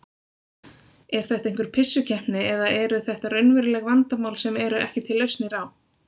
Er þetta einhver pissukeppni eða eru þetta raunveruleg vandamál sem eru ekki til lausnir á?